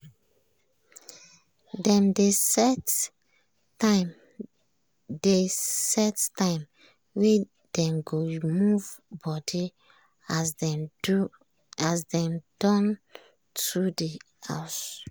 dem dey set time dey set time wey dem go move body as dem don too dey house.